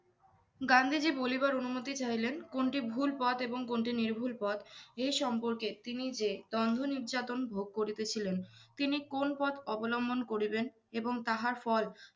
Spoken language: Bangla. গান্ধীজী বলিবার অনুমতি চাহিলেন, কোনটি ভুল পথ এবং কোনটি নির্ভুল পথ, এই সম্পর্কে তিনি যে দ্বন্ধ নির্যাতন ভোগ করিতেছিলেন। তিনি কোন্ পথ অবলম্বন করিবেন, এবং তাহার ফল